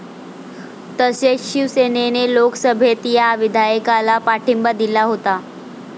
तसेच शिवसेनेने लोकसभेत या विधेयकाला पाठिंबा दिला होता.